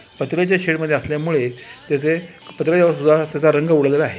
पत्राच्या शेड मध्ये असल्यामुळे त्याचे त्याचा रंग उडलेला आहे.